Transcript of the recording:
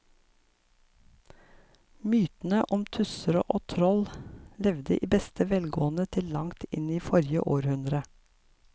Mytene om tusser og troll levde i beste velgående til langt inn i forrige århundre.